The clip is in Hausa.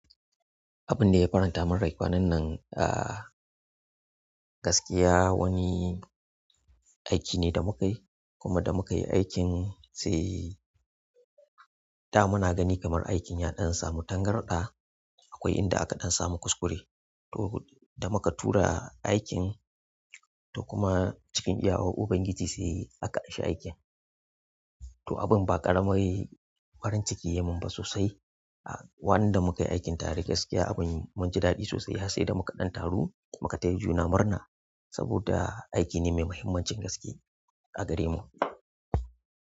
Abin da ya faranta min rai kwanan nan, ah gaskiya wani aiki ne da muka yi kuma da muka yi aikin sai da muna gani kamar aikin ya ɗan samu tangarɗa akwai inda aka ɗan samu kuskure. To da muka tura aikin to kuma cikin iya war Ubangiji sai aka amshe aikin. To abin ba ƙaramai farin ciki ya mun ba sosai. Waɗanda muka yi aikin tare gaskiya abin mun ji daɗi sosai har sai da muka ɗan taru muka taya juna murna saboda aiki ne mai mahimmancin gaske a gare mu.